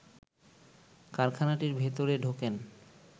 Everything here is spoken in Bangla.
কারখানাটির ভেতরে ঢোকেন